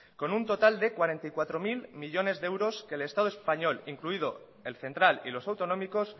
con un total de cuarenta y cuatro mil millónes de euros que el estado español incluido el central y los autonómicos